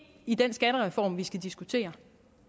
i den skattereform vi skal diskutere